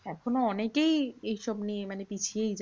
এখনো অনেকেই এইসব নিয়ে মানে পিছিয়েই যায়।